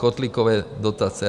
Kotlíkové dotace.